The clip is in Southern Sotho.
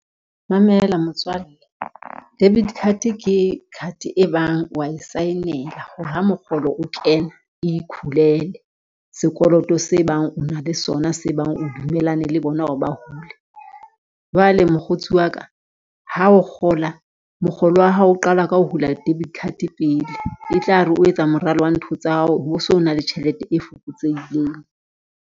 Mamela motswalle debit card ke card e bang wa e sign-ela ha mokgolo o kena ikhulelwe sekoloto se bang o na le sona se bang o dumellane le bona o ho ba hule. Jwale mokgotsi wa ka ha o kgola mokgolo wa hao o qala ka ho hula debit card pele, e tla re o etsa moralo wa ntho tsa hao, ho bo so na le tjhelete e fokotsehileng.